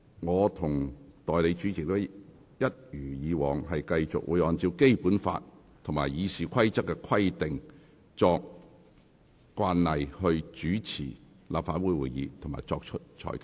我和代理主席一如既往，會按照《基本法》和《議事規則》的規定，並參照過往慣例來主持立法會會議及作出裁決。